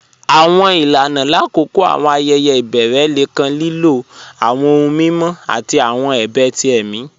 Àwọn ilànà lákọọ̀ àwọn ayẹyẹ̀ ibẹ̀rẹ̀ lẹ̀ kàn lílọ̀ àwọn ọ̀hùn mímọ̀ àti àwọn ẹ̀bẹ̀ tí ẹ̀mi.